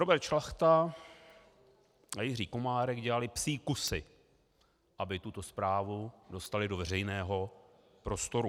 Robert Šlachta a Jiří Komárek dělali psí kusy, aby tuto zprávu dostali do veřejného prostoru.